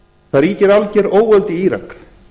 það ríkir alger óöld í írak